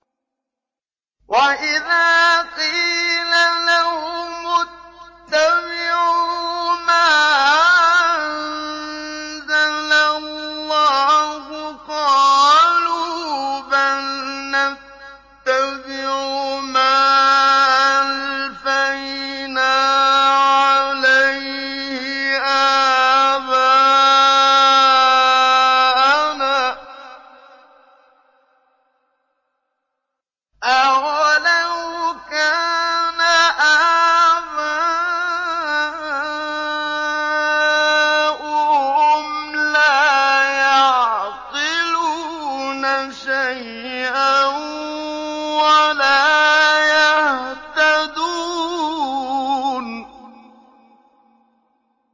وَإِذَا قِيلَ لَهُمُ اتَّبِعُوا مَا أَنزَلَ اللَّهُ قَالُوا بَلْ نَتَّبِعُ مَا أَلْفَيْنَا عَلَيْهِ آبَاءَنَا ۗ أَوَلَوْ كَانَ آبَاؤُهُمْ لَا يَعْقِلُونَ شَيْئًا وَلَا يَهْتَدُونَ